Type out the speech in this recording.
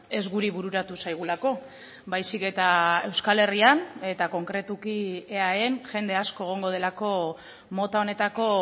ez guri bururatu zaigulako baizik eta euskal herrian eta konkretuki eaen jende asko egongo delako mota honetako